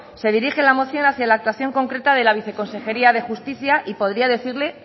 se dirige la moción hacia la actuación concreta de la viceconsejería de justicia y podría decirle